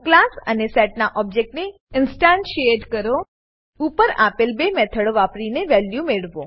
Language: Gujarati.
ક્લાસ અને સેટનાં ઓબજેક્ટને ઇન્સ્ટન્ટીએટ કરો અને ઉપર આપેલ બે મેથડો વાપરીને વેલ્યુઓ મેળવો